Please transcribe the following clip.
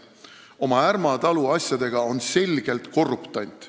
Oma Ärma talu asjadega on ta selgelt korruptant.